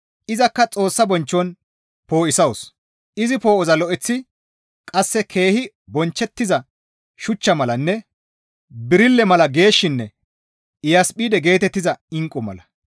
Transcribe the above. Izakka Xoossa bonchchon poo7isawus; izi poo7oza lo7eteththi qasse keehi bonchchettiza shuchcha malanne birille mala geeshshinne Iyasphide geetettiza inqqu mala.